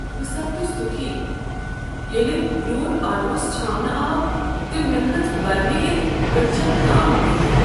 بہٕ سپدس دُكھی ییٚلہ روٗد آٹوہس چھاونہٕ آو تہٕ مےٚ كھٔژ برنہٕ یِتھ أڈجین تام تۭر ۔